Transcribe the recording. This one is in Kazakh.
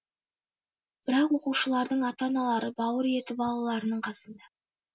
бірақ оқушылардың ата аналары бауыр еті балаларының қасында